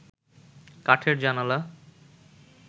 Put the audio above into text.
কাঠের জানালা